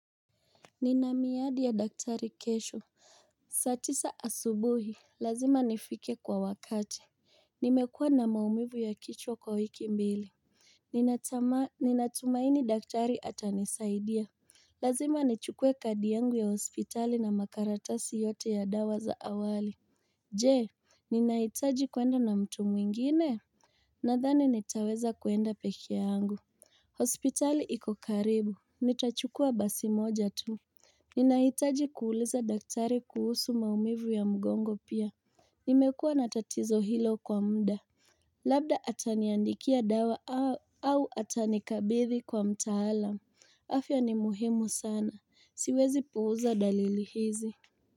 Nina miadi ya daktari kesho saa tisa asubuhi, lazima nifike kwa wakati Nimekua na maumivu ya kichwa kwa wiki mbili Ninatumaini daktari ata nisaidia Lazima nichukue kadi yangu ya hospitali na makaratasi yote ya dawa za awali Je, ninahitaji kuenda na mtu mwingine Nadhani nitaweza kuenda peke yangu hospitali iko karibu, nitachukua basi moja tu Ninahitaji kuuliza daktari kuhusu maumivu ya mgongo pia. Nimekuwa natatizo hilo kwa mda. Labda ataniandikia dawa au atanikabithi kwa mtaalamu. Afya ni muhimu sana. Siwezi puuza dalili hizi.